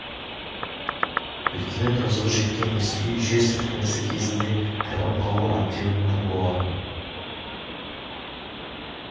өйткені тозығы жеткен ескі үй жер сілкінісі кезінде қирап қалуы әбден мүмкін болатын